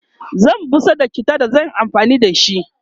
zan busar da chittan da zan Yi amfani da shi